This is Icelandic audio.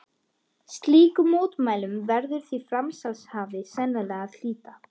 Slíkum mótmælum verður því framsalshafi sennilega að hlíta.